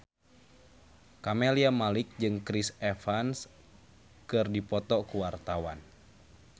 Camelia Malik jeung Chris Evans keur dipoto ku wartawan